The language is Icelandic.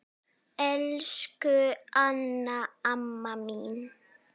Elsku Anna amma mín.